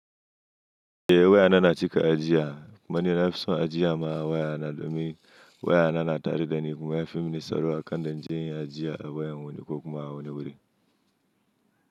Eh wayana na cika ajiya kuma ni na fison ajiya ma wayana domin wayana na tare dani kuma ya fi mini saro akan da in je in ajiye a wayan wani ko kuma a wani wuri.